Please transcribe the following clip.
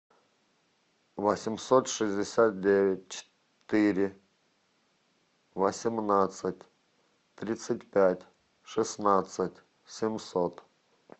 восемьсот шестьдесят девять четыре восемнадцать тридцать пять шестнадцать семьсот